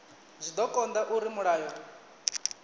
zwa do konda uri mulayo